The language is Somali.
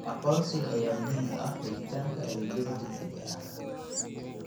Aqoonsiga ayaa muhiim u ah helitaanka adeegyada degdegga ah.